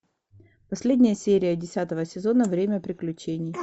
последняя серия десятого сезона время приключений